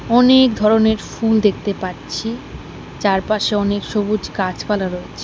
অনেক ধরনের ফুল দেখতে পাচ্ছি চারপাশে অনেক সবুজ গাছপালা রয়েছে।